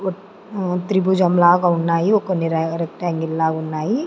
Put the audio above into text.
మ్మ్ త్రిభుజం లాగ ఉన్నాయి కొన్ని రెక్టాంగిల్ లాగున్నాయి.